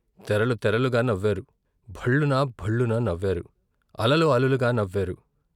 తెరలు తెరలుగా నవ్వారు భళ్లున భళ్ళున నవ్వారు అలలు అలలుగా నవ్వారు.